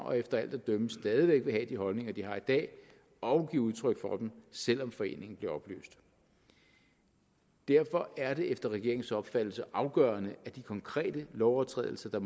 og efter alt at dømme stadig væk vil have de holdninger de har i dag og give udtryk for dem selv om foreningen bliver opløst derfor er det efter regeringens opfattelse afgørende at de konkrete lovovertrædelser der